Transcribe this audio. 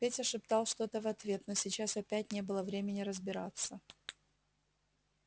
петя шептал что-то в ответ но сейчас опять не было времени разбираться